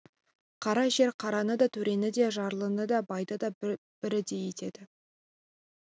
қара жер қараны да төрені де жарлыны да байды да бірдей етеді